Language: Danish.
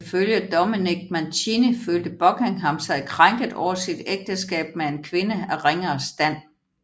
Ifølge Dominic Mancini følte Buckingham sig krænket over sit ægteskab med en kvinde af ringere stand